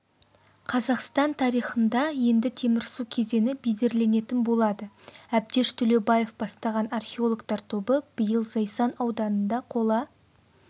қазақстан тарихында енді темірсу кезеңі бедерленетін болады әбдеш төлеубаев бастаған археологтар тобы биыл зайсан ауданында қола